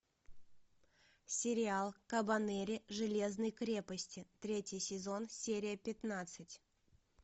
сериал кабанери железной крепости третий сезон серия пятнадцать